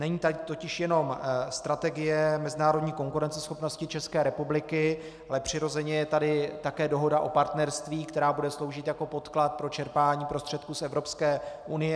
Není tady totiž jenom Strategie mezinárodní konkurenceschopnosti České republiky, ale přirozeně je tady také Dohoda o partnerství, která bude sloužit jako podklad pro čerpání prostředků z Evropské unie.